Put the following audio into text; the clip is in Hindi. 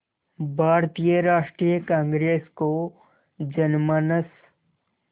भारतीय राष्ट्रीय कांग्रेस को जनमानस